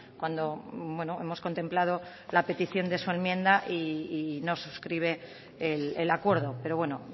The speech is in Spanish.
cuando hemos contemplado la petición de su enmienda y no suscribe el acuerdo pero bueno